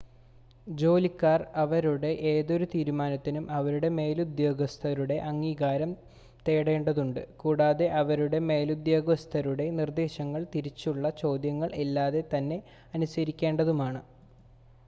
ജോലിക്കാർക്ക് അവരുടെ ഏതൊരു തീരുമാനത്തിനും അവരുടെ മേലുദ്യോഗസ്ഥരുടെ അംഗീകാരം നേടേണ്ടതുണ്ട് കൂടാതെ അവരുടെ മേലുദ്യോഗസ്ഥരുടെ നിർദ്ദേശങ്ങൾ തിരിച്ചുള്ള ചോദ്യങ്ങൾ ഇല്ലാതെ തന്നെ അനുസരിക്കേണ്ടതുമാണ്